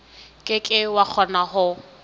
ke ke wa kgona ho